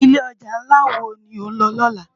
Ilé òjá nlá wó ló nlò lòlá?